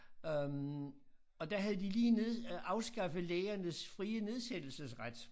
Øh og der havde de lige ned øh afskaffet lægernes frie nedsættelsesret